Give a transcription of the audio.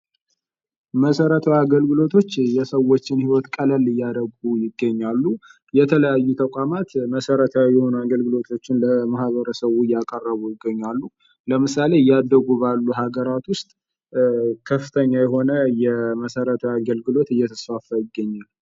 መሰረታዊ አገልግሎቶች የሰዎችን ሕይወት ቀለል እያረጉ ይገኛሉ:: የተለያዩ ተቋማት መሰረታዊ የሆኑ አገልግሎቶችን ለማህበረሰቡ እያቀረቡ ይገኛሉ:: ለምሳሌ እያደጉ ያሉ ሃገራት ዉስጥ ከፍተኛ የሆነ መሰረታዊ አገልግሎት እየተስፋፋ ይገኛል::